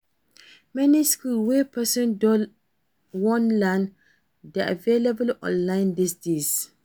Many skills wey person won learn de available online these days